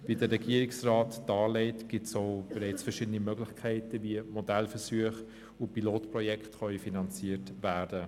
Wie der Regierungsrat darlegt, gibt es bereits verschiedene Möglichkeiten, um Modellversuche und Pilotprojekte zu finanzieren.